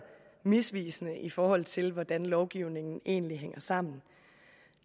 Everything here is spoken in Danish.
misvisende i forhold til hvordan lovgivningen egentlig hænger sammen